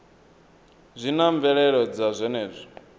zwi na mvelelo dza zwenezwo